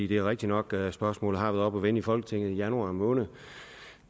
det er rigtigt nok at spørgsmålet har været oppe at vende i folketinget i januar måned